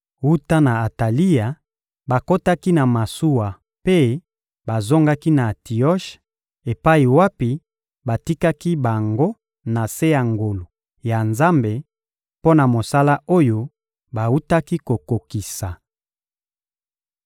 Wuta na Atalia, bakotaki na masuwa mpe bazongaki na Antioshe epai wapi batikaki bango na se ya ngolu ya Nzambe, mpo na mosala oyo bawutaki kokokisa.